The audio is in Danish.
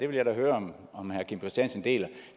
vil jeg da høre om herre kim christiansen deler